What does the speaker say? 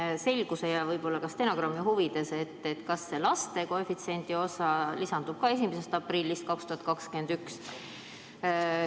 Küsin selguse ja võib-olla ka stenogrammi huvides, kas see laste koefitsiendi osa lisandub ka 1. aprillist 2021.